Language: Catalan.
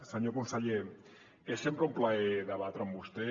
senyor conseller és sempre un plaer debatre amb vostè